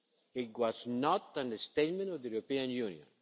It was not a statement of the European Union.